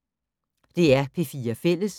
DR P4 Fælles